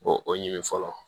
O o ɲini fɔlɔ